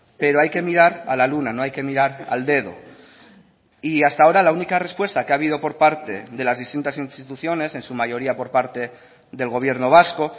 pero hay que mirar a la luna no hay que mirar al dedo y hasta ahora la única respuesta que ha habido por parte de las distintas instituciones en su mayoría por parte del gobierno vasco